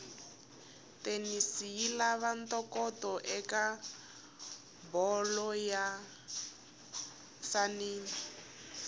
tennis yilava ntokoto ekabholo leyinsanani